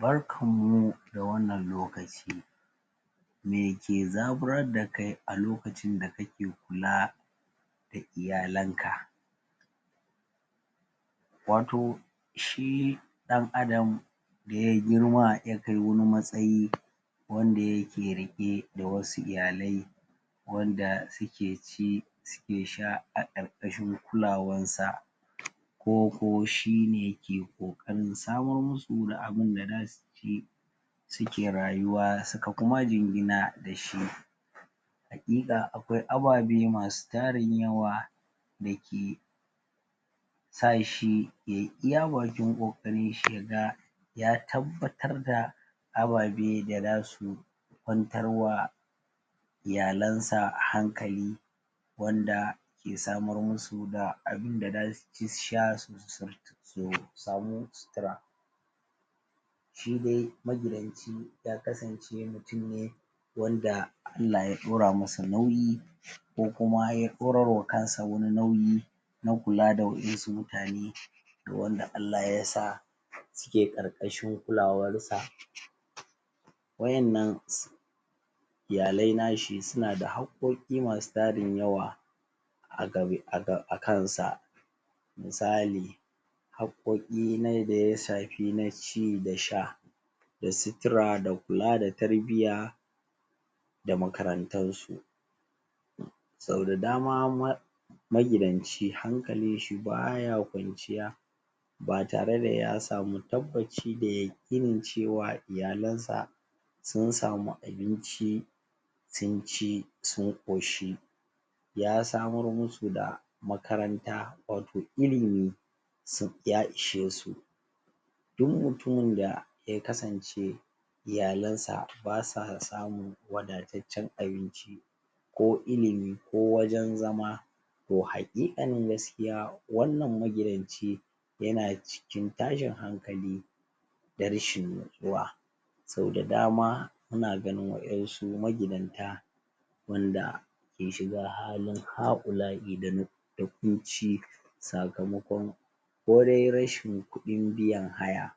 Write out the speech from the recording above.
Barkan mu da wannan lokaci me ke zaburar da kai a lokacin da kake kula da iyalanka wato shi ɗan Adam da ya girma ya kai wani matsayi wanda yake riƙe da wasu iyalai wanda suke ci suke sha a ƙarƙashin kulawansa ko ko shi ne ke ƙoƙarin samar musu da abin da za su ci suke rayuwa suka kuma jingina da shi haƙiƙa akwai ababe masu tarin yawa dake sa shi ya yi iya bakin ƙoƙarinshi ya ga ya tabbatar da ababe da za su kwantar wa iyalansa hankali wanda ke samar musu da abin da za su ci su sha su samu sutura shi dai magidanci ya kasance mutum ne wanda Allah ya ɗora masa nauyi ko kuma ya ɗorarwa kansa wani nauyi na kula da waƴansu mutane wanda Allah ya sa suke ƙarƙashin kulawarsa waƴannan sun iyalaui na shi suna da haƙƙoƙi masu tarin yawa a kansa misali haƙƙoƙi na yadda ya shafi na ci da sha da sutura da kula da tarbiyya da makarantansu sau da dama ma magidanci hankalinshi ba ya kwanciya ba tare da ya samu tabbaci da yaƙinin cewa iyalansa sun samu abinci sun ci sun ƙoshi ya samar musu da makaranta wato ilimi sun ya ishe su duk mutumin da ya kasance iyalansa ba sa samu wadataccen abinci ko ilimi ko wajen zama to haƙiƙanin gaskiya wannan magidanci yana cikin tashin hankali da rashin nutsuwa sau da dama muna ganin waƴansu magidanta wanda ke shiga halin ha'ula'i da da ƙunci sakamakon ko de rashin kuɗin biyan haya